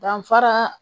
Danfara